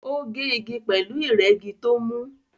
Ó gé igi pẹ̀lú ìrẹ́gi tó mú